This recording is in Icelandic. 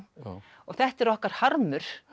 og þetta er okkar harmur